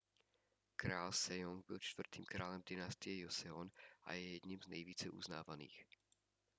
král sejong byl čtvrtým králem dynastie joseon a je jedním z nejvíce uznávaných